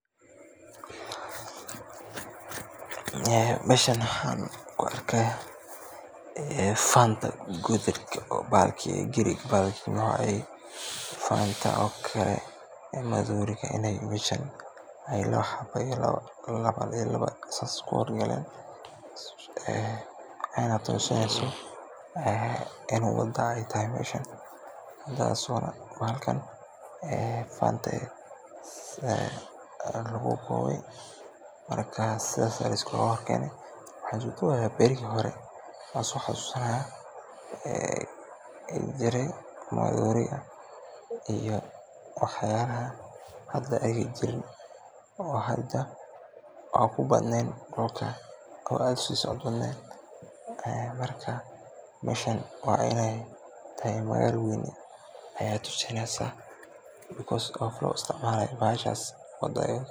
Meeshan waxaan ku arkaaya faanta madooriga inaay meeshan laba xaba isku soo hor jeedan aayna tusineyso inaay wada tahay meeshan, midaas oo bahalkan faanta lagu Boone, waxaan soo xasuusanaya bariga hore uu jire maroodiga, meeshan inaay tahay magaala weyn ayeey tusineysa.